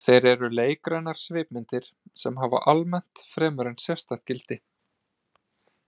Þeir eru leikrænar svipmyndir sem hafa almennt fremur en sérstakt gildi.